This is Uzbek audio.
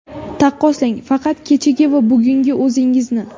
Taqqoslang, faqat kechagi va bugungi o‘zingizni.